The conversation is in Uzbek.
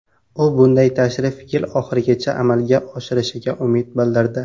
U bunday tashrif yil oxirigacha amalga oshishiga umid bildirdi.